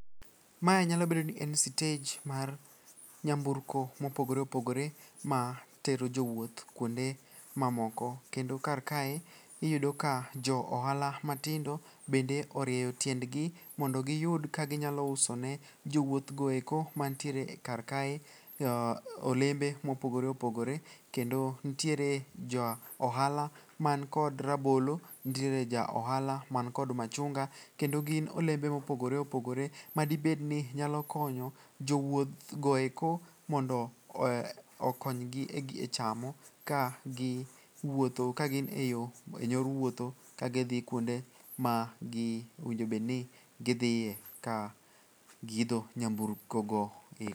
Mae nyalo bedo ni en sitej mar nyamburko mopogore opogore matero jowuoth kuonde mamoko kendo karkae iyudo ka jo ohala matindo bende orieyo tiendgi mondo giyud kaginyalo usone jowuoth goeko mantiere karkae olembe mopogore opogore kendo ntiere ja ohala mankod rabolo, ntiere ja ohala mankod machunga. Kendo gin olembe ma opogore opogore madibedni nyalo konyo jowuothgoeko mondo okonygi e chamo kagin e yor wuotho kagi kuonde ma owinjobedni gidhie ka giidho nyamburkogo.